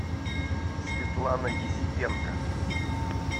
светлана есипенко